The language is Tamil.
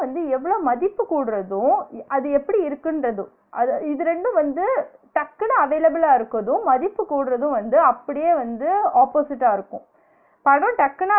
வந்து எவ்ளோ மதிப்பு கூடுறதோ அது எப்டி இருக்குன்றது அத இது ரெண்டும் வந்து டக்குனு available லா இருக்குறதும் மதிப்பு கூடுறதும் வந்து அப்டியே வந்து opposite ஆ இருக்கும் கடன் டக்குனு